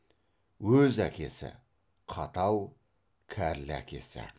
өз әкесі қатал кәрлі әкесі